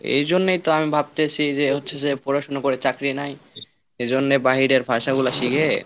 এই জন্যই তো আমি ভাবতেছি যে হচ্ছে যে পড়াশোনা করে চাকরি নাই, এজন্য বাহিরের ভাষাগুলা শিখে